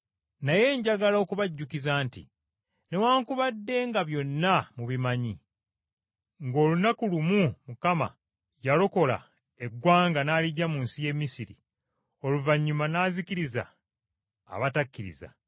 Naye njagala okubajjukiza nti newaakubadde nga byonna mubimanyi, nga olunaku lumu Mukama yalokola eggwanga n’aliggya mu nsi y’e Misiri, oluvannyuma n’azikiriza abatakkiriza,